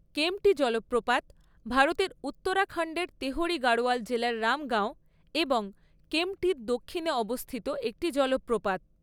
কেম্পটি জলপ্রপাত ভারতের উত্তরাখণ্ডের তেহরি গাড়োয়াল জেলার রাম গাঁও এবং কেম্পটির দক্ষিণে অবস্থিত একটি জলপ্রপাত।